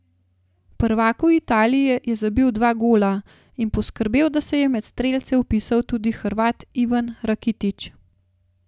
Prvaku Italije je zabil dva gola in poskrbel, da se je med strelce vpisal tudi Hrvat Ivan Rakitić.